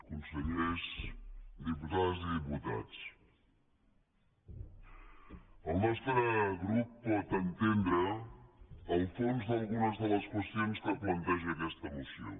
consellers diputades i diputats el nostre grup pot entendre el fons d’algunes de les qüestions que planteja aquesta moció